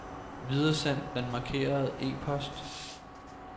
Videresend den markerede e-post.